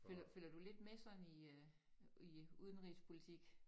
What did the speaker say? Følger følger du lidt med sådan i øh i udenrigspolitik